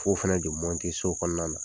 Fo fɛnɛ de so kɔnɔna na.